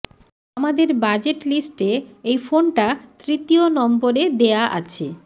আমাদের budget list এ এই ফোনটা তৃতীয় নম্বর এ দেয়া আছে